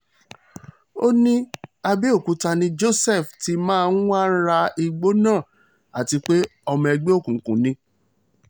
ó ní àbẹ̀òkúta ni joseph ti máa ń wáá ra igbó náà àti pé ọmọ ẹgbẹ́ òkùnkùn ni